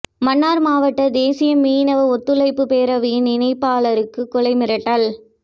மன்னார் மாவட்ட தேசிய மீனவ ஒத்துழைப்பு பேரவையின் இணைப்பாளருக்கு கொலை மிரட்டல்